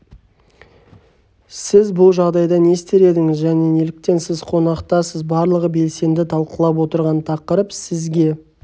сіз бұл жағдайда не істер едіңіз және неліктен сіз қонақтасыз барлығы белсенді талқылап отырған тақырып сізге